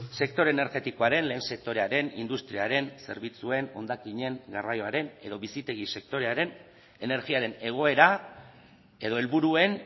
sektore energetikoaren lehen sektorearen industriaren zerbitzuen hondakinen garraioaren edo bizitegi sektorearen energiaren egoera edo helburuen